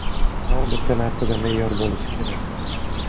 Har bitta narsada me’yor bo‘lishi kerak.